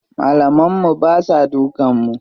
Malaman mu basa dukan mu.